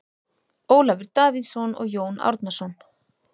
Ólafur Davíðsson og Jón Árnason.